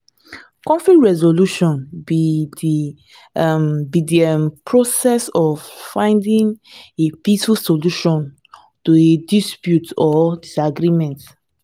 conflict resolution be di um be di um process of finding a peaceful solution to a dispute or disagreement.